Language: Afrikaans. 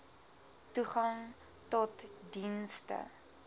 toegang tot dienste